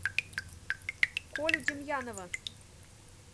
колю демьянова